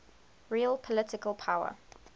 real political power